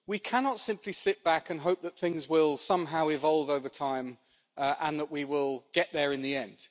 We cannot simply sit back and hope that things will somehow evolve over time and that we will get there in the end.